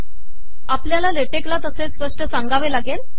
आपलयाला लेटेक ला तसे सपष सागावे लागेल